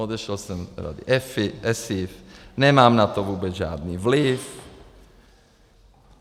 Odešel jsem z rady EFI, ESIF, nemám na to vůbec žádný vliv.